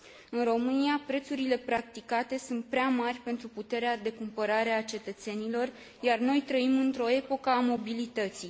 În România, prețurile practicate sunt prea mari pentru puterea de cumpărare a cetățenilor, iar noi trăim într o epocă a mobilității.